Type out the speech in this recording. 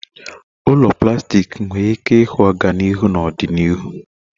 Ụlọ plastik nwere ike ịhụ ọganihu na ọdịnihu